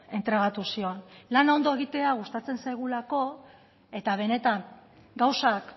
entregatu zion lana ondo egitea gustatzen zaigulako eta benetan gauzak